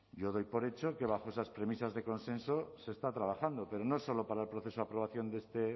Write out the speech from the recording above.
yo doy por hecho que bajo esas premisas de consenso se está trabajando pero no solo para el proceso de aprobación de este